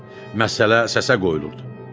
Məsələ səsə qoyulurdu.